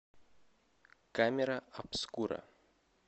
камера обскура